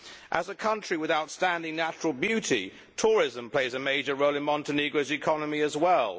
As a country with outstanding natural beauty, tourism plays a major role in Montenegro's economy as well.